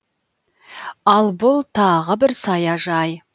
ал бұл тағы бір саяжай